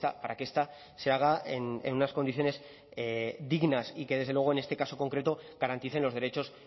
para que esta se haga en unas condiciones dignas y que desde luego en este caso concreto garanticen los derechos